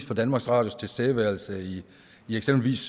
for danmarks radios tilstedeværelse i eksempelvis